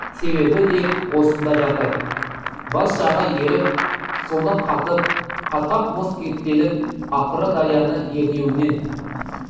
себебі де осында жатыр бас жағы еріп соңы қатып қатқақ мұз кептеліп ақыры дарияны ернеуінен